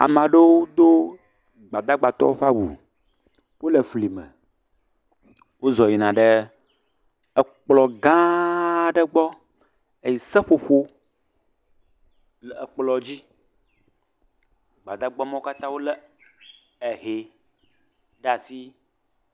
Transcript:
Ame aewo do Gbadagbatɔwo ƒe awu. Wole flime. Wozɔ yina ɖe ekplɔ̃gãaa aɖe gbɔ eye seƒoƒo le ekplɔ̃dzi. Gbadagba mawo katã wolé ehee ɖe asi.